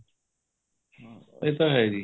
ਇਹ ਤਾਂ ਹੈ ਜੀ